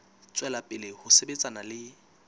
tswela pele ho sebetsana le